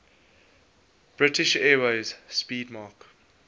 british airways 'speedmarque